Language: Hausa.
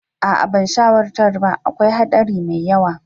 Aa ban shawartar ba, akwai haɗari mai yawa.